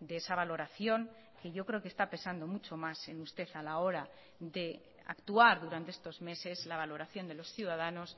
de esa valoración que yo creo que está pesando mucho más en usted a la hora de actuar durante estos meses la valoración de los ciudadanos